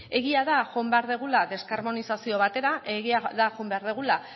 egia da joan behar dugula deskarbonizazio batera egia da joan behar dugula